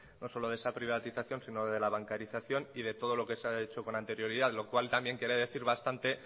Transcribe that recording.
no solo de esa privatización sino de la bancarización y de todo lo que se ha hecho con anterioridad lo cual también quiere decir bastante